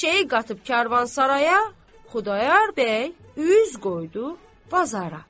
Eşşəyi qatıb karvansaraya, Xudayar bəy üz qoydu bazara.